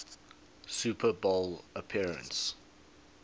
super bowl appearance